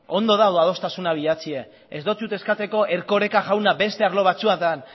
ondo dago adostasunak bilatzea ez dotsut eskatuko erkoreka jauna beste arlo batzuetan